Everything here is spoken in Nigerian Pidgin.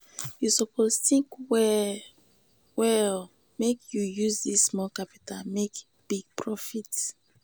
you suppose tink well-well make you use dis small capital make big profit.